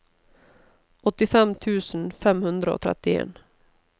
åttifem tusen fem hundre og trettien